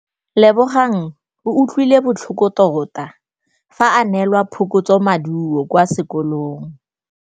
Lebogang o utlwile botlhoko tota fa a neelwa phokotsômaduô kwa sekolong.